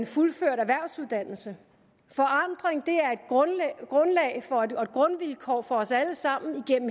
fuldført erhvervsuddannelse forandring er et grundvilkår for os alle sammen